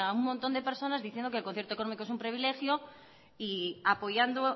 un montón de personas diciendo que el concierto económico es un privilegio y apoyando